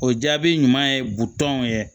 O jaabi ɲuman ye butɔn ye